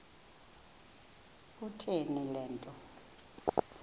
kutheni le nto